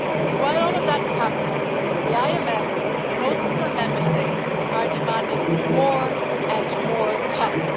While all of that is happening the IMF and also some Member States are demanding more and more cuts.